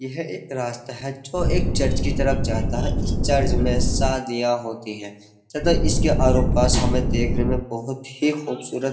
यह एक रास्ता है जो एक चर्च की तरफ जाता है इस चर्च में शादियां होती हैं तथा इसके आरो पास हमे देखने में बहुत ही खूबसूरत --